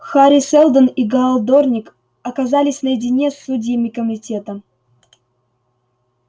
хари сэлдон и гаал дорник оказались наедине с судьями комитета